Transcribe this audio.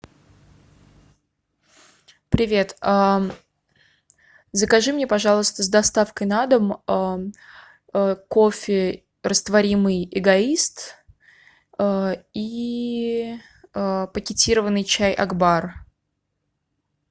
привет закажи мне пожалуйста с доставкой на дом кофе растворимый эгоист и пакетированный чай акбар